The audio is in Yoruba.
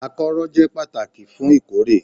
Akọ́rọ́ jẹ́ pàtàkì fún ìkórè